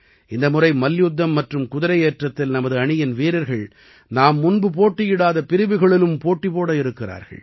இந்த முறை மல்யுத்தம் மற்றும் குதிரையேற்றத்தில் நமது அணியின் வீரர்கள் நாம் முன்பு போட்டியிடாத பிரிவுகளிலும் போட்டிபோட இருக்கிறார்கள்